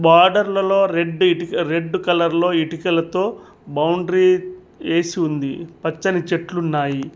బార్డర్లలో రెడ్డీ red colour లో ఇటుకలతో బౌండరీ ఏసి ఉంది పచ్చని చెట్లు ఉన్నాయి.